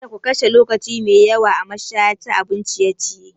Kada ku kashe lokaci mai yawa a mashaya ta abun ciye-ciye.